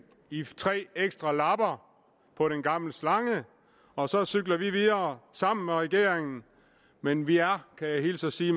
i tre ekstra lapper på den gamle slange og så cykler vi videre sammen med regeringen men vi er kan jeg hilse og sige